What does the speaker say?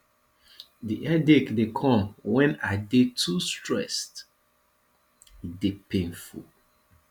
di headache dey come wen i dey too stressed e dey painful